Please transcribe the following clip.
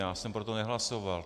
Já jsem pro to nehlasoval.